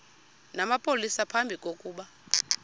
namapolisa phambi kokuba